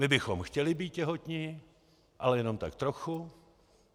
My bychom chtěli být těhotní, ale jenom tak trochu.